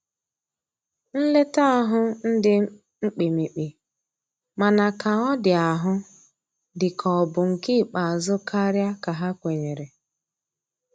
Nleta ahu ndi mkpimikpi, mana ka ọ di ahụ di ka ọ bụ nke ikpeazu karia ka ha kwenyere.